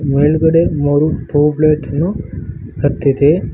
ಒಳಗಡೆ ಮೂರು ಟ್ಯೂಬ್ಲೆಟ್ ಅನ್ನು ಹತ್ತಿದೆ.